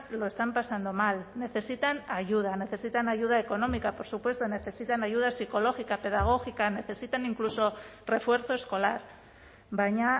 lo están pasando mal necesitan ayuda necesitan ayuda económica por supuesto necesitan ayuda psicológica pedagógica necesitan incluso refuerzo escolar baina